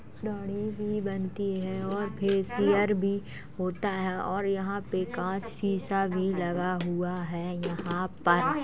दाढ़ी भी बनती है और फेसिअर भी होता है और यहाँ पे कांच सीसा भी लगा हुआ है यहाँ पर।